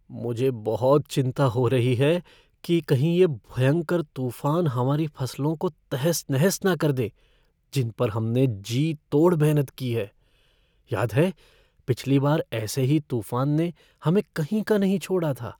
मुझे बहुत चिंता हो रही है कि कहीं ये भयंकर तूफान हमारी फसलों को तहस नहस न कर दें जिनपर पर हमने जी तोड़ मेहनत की है। याद है, पिछली बार ऐसे ही तूफान ने हमें कहीं का नहीं छोड़ा था?